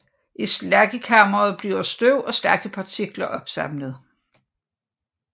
I slaggekammeret bliver støv og slaggepartikler opsamlet